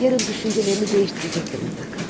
Yarın düşüncelerini değiştirecektir mutlaka.